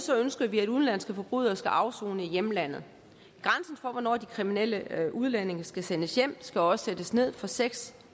ønsker vi at udenlandske forbrydere skal afsone i hjemlandet grænsen for hvornår de kriminelle udlændinge skal sendes hjem skal også sættes ned fra seks